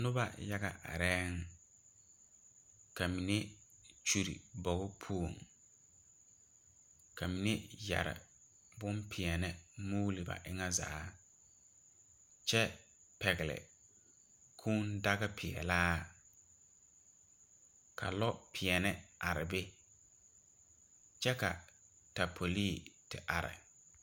Noba yaga arɛɛŋ ka mine kyuri o bogo puoŋ ka mine yɛre bompeɛle muuli ba eŋa zaa kyɛ pɛgle kūūdagapeɛlaa ka lopeɛne are be kyɛ ka taapolii te are.